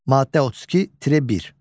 Maddə 32-1.